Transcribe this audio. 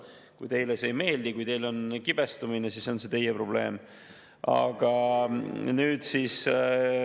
Aga mu küsimus on see: kas on üldse võimalik tõsta kaitsekulud üle 3%, kulutada laiapõhjalisele riigikaitsele umbes 0,5% ja samal ajal vähendada eelarve defitsiiti alla 3%?